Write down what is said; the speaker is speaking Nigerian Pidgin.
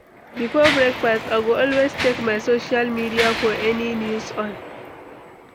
Before breakfast, I go always check my social media for any news on